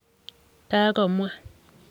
kakomwa.